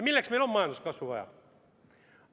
Milleks on meile majanduskasvu vaja?